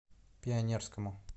пионерскому